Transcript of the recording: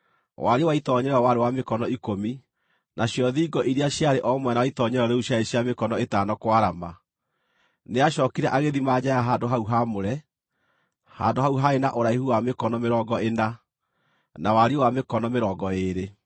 Wariĩ wa itoonyero warĩ wa mĩkono ikũmi, nacio thingo iria ciarĩ o mwena wa itoonyero rĩu ciarĩ cia mĩkono ĩtano kwarama. Nĩacookire agĩthima nja ya handũ-hau-haamũre; handũ hau haarĩ na ũraihu wa mĩkono mĩrongo ĩna, na wariĩ wa mĩkono mĩrongo ĩĩrĩ.